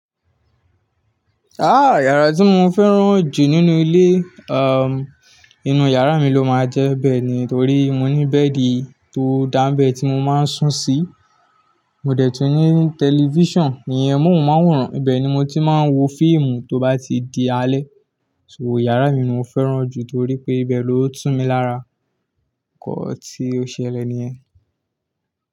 Ah yàrá tí mo fẹ́ràn jù nínú ilé, inu yàrá mi ló máa jẹ́ bẹ́ẹ̀ ni. Nítorí mo ní bẹ́ẹ̀dì tó dá n bẹ́ tí mo máa ń sùn sí. Mo dẹ̀ tún ní tẹlifíṣàn, ìyẹn móhùnmáwòrán. Ibẹ́ẹ̀ ni mo ti máa ń wo fíìmù tó bá ti di alẹ́. So yàrá mi ni mo fẹ́ràn jù torí pé bẹ ló tú mi lára, nkan tí ó ṣẹlẹ̀ nìyẹn.